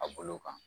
A bolo kan